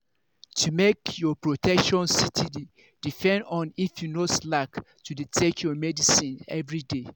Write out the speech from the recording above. to make your protection steady depend on if you no slack to dey take your medicines everyday.